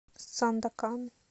сандакан